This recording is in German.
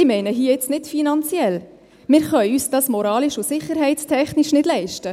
Ich meine hier nicht finanziell: Wir können es uns moralisch und sicherheitstechnisch nicht leisten.